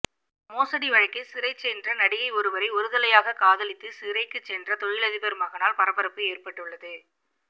மோசடி வழக்கில் சிறை சென்ற நடிகை ஒருவரை ஒருதலையாக காதலித்து சிறைக்கு சென்ற தொழிலதிபர் மகனால் பரபரப்பு ஏற்பட்டுள்ளது